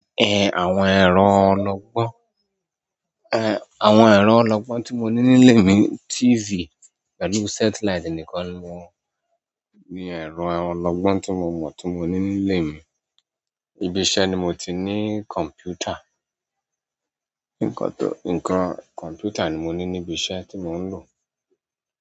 Àwọn ẹ̀rọ ológbón, àwọn ẹ̀rọ ológbón tí mo ní nílé mi, TV pẹ̀lú satellite nìkan ni mo ní ẹ̀rọ ológbón tí mo mọ̀ tí mo ní nílé mi. Ibi iṣẹ́ ni mo ti ní kọ̀mpútà. Nkan tó, nǹkan kọ̀mpútà ni mo ní níbi iṣẹ́ tí mò ń lò.